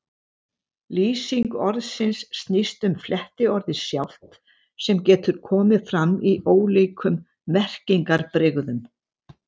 Lýsing orðsins snýst um flettiorðið sjálft, sem getur komið fram í ólíkum merkingarbrigðum.